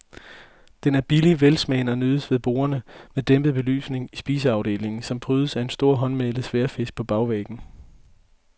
Den er billig, velsmagende og nydes ved borde med dæmpet belysning i spiseafdelingen, som prydes af en stor håndmalet sværdfisk på bagvæggen.